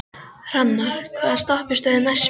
Hrannar, hvaða stoppistöð er næst mér?